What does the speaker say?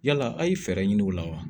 Yala a' ye fɛɛrɛ ɲini u la wa